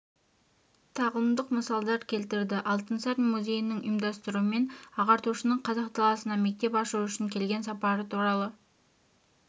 тағылымдық мысалдар келтірді алтынсарин музейінің ұымдастыруымен ағартушының қазақ даласына мектеп ашу үшін келген сапары туралы